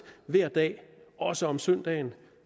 hver dag også om søndagen